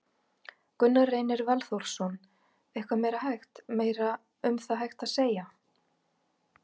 Gunnar Reynir Valþórsson: Eitthvað meira hægt, meira um það hægt að segja?